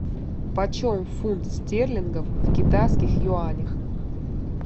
почем фунт стерлингов в китайских юанях